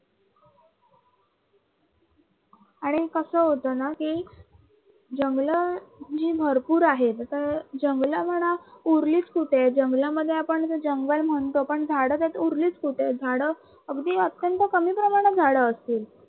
आणि कस होतं ना कि जंगलं ही भरपूर आहेत आता जंगल म्हणा उरलीच कुठ आहेत जंगलामध्ये आपण तर जंगल म्हणतो पण झाडं उरलीच कुठ आहेत झाडं अगदी अत्यंत कमी प्रमाणात झाडं असतील.